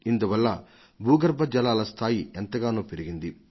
ఇందువల్ల భూగర్భ జలాల స్థాయి ఎంతగానో పెరిగింది